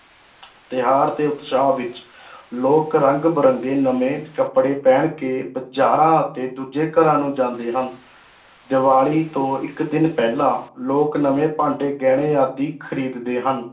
ਤਿਉਹਾਰ ਦੇ ਉਤਸ਼ਾਹ ਵਿੱਚ ਲੋਕ ਰੰਗ ਬਿਰੰਗੇ ਨਵੇਂ ਕੱਪੜੇ ਪਹਿਨ ਕੇ ਬਾਜ਼ਾਰਾਂ ਅਤੇ ਦੂਜੇ ਘਰਾਂ ਨੂੰ ਜਾਂਦੇ ਹਨ ਦੀਵਾਲੀ ਤੋਂ ਇਕ ਦਿਨ ਪਹਿਲਾਂ, ਲੋਕ ਨਵੇਂ ਭਾਂਡੇ, ਗਹਿਣੇ ਆਦਿ ਖਰੀਦਦੇ ਹਨ।